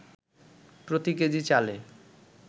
প্রতি কেজি চালে